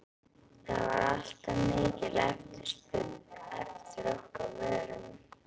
það var alltaf mikil eftirspurn eftir okkar vörum.